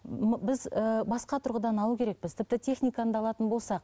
біз ііі басқа тұрғыдан алу керекпіз тіпті техниканы да алатын болсақ